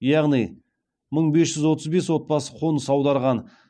яғни мың бес жүз отыз бес отбасы қоныс аударған